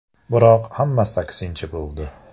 Biroq hammasi aksincha bo‘ldi.